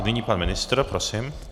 Nyní pan ministr, prosím.